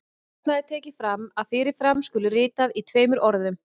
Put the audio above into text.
Þarna er tekið fram að fyrir fram skuli ritað í tveimur orðum.